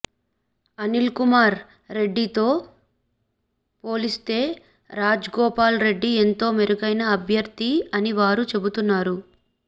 అనిల్కుమార్ రెడ్డితో పోలిస్తే రాజగోపాల్ రెడ్డి ఎంతో మెరుగైన అభ్యర్థి అని వారు చెబుతున్నారు